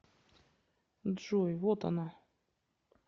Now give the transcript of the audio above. джой вот она